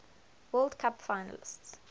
world cup finals